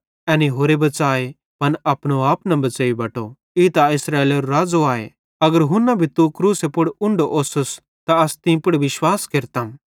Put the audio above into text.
एनी होरे बच़ाए पन अपनो आप न बच़ेइ बटो ई त इस्राएलेरो राज़ो आए अगर हुन्ना भी तू क्रूसे पुड़रां उन्ढो ओस्स त अस तीं पुड़ विश्वास केरतम